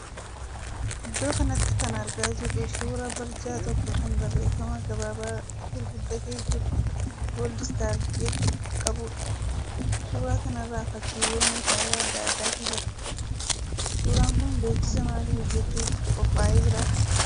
Iddoo kanatti kan argaa jirru suuraa barjaa tokko kan barreeffama gabaabaa guguddatee jiru ''Goldstar' jedhu qabuudha. Suuraa kanarra fakkiilee meeshaalee adda addaatu jira. Suuraan kun beeksisa maalii hojjechuuf qophaa'ee jira?